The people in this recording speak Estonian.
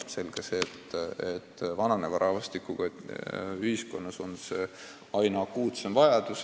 Selge see, et vananeva rahvastikuga ühiskonnas on see aina akuutsem vajadus.